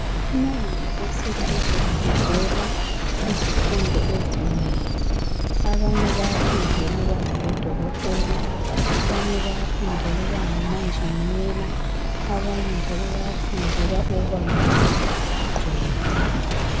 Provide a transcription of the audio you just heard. EmaYunivesi kufundelwa izifundo ezinengi. Abanye bayafundela ukuba ngodokotela, abanye bayafundela ukuba ngomanjinela abanye njalo bayafundela ukubangamagqwetha.